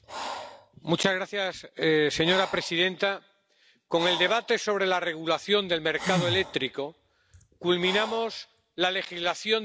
Señora presidenta, con el debate sobre la regulación del mercado eléctrico culminamos la legislación del paquete de energía limpia.